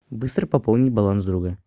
быстро пополнить баланс друга